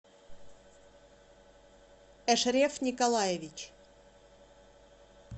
эшреф николаевич